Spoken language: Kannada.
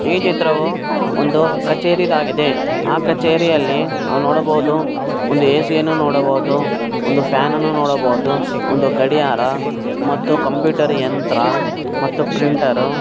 ಈ ಚಿತ್ರವು ಒಂದು ಕಚೇರಿದ್ ಆಗಿದೆ ಆ ಕಚೇರಿಯಲ್ಲಿ ನಾವ್ ನೋಡಬಹುದು ಒಂದು ಎ.ಸಿ ಯನ್ನು ನೋಡಬಹುದು ಒಂದು ಫ್ಯಾನ್ ಅನ್ನು ನೋಡಬಹುದು ಒಂದು ಗಡಿಯಾರ ಮತ್ತು ಕಂಪ್ಯೂಟರ್ ಯಂತ್ರ ಮತ್ತು ಪ್ರಿಂಟರ್ .